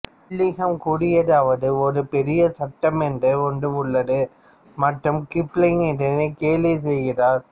Wilhelm கூறியதாவது ஒரு பெரிய சட்டம் என்ற ஒன்று உள்ளது மற்றும் கிப்லிங் இதனை கேலி செய்கிறார்